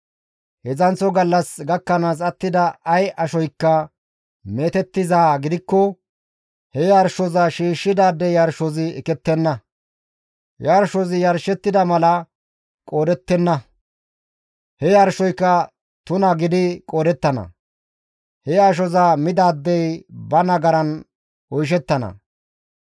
Heedzdzanththo gallas gakkanaas attida ay ashoykka meetettizaa gidikko he yarshoza shiishshidaade yarshozi ekettenna; yarshozi yarshettida mala qoodettenna; he yarshoyka tuna gidi qoodettana; he ashoza midaadey ba nagaran oyshettana.